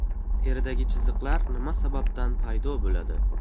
Teridagi chiziqlar nima sababdan paydo bo‘ladi?.